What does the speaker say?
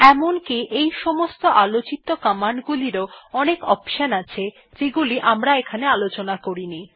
এমনকি এই সমস্ত কমান্ড গুলিরও অনেক অপশনস আছে যেগুলি এখানে আলোচনা করা হয়েনি